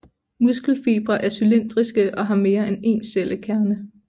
Muskelfibre er cylindriske og har mere end én cellekerne